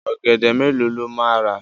Ọ̀gẹ̀dẹ̀ mélòó ló máa rà?